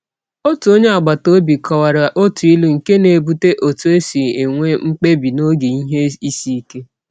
Otu onye agbataobi kọwara otu ilu nke na-ebute otu e si enwe mkpebi n’oge ihe isiike.